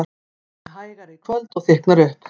Hægari í kvöld og þykknar upp